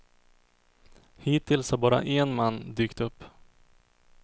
Hittills har bara en man dykt upp.